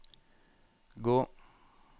gå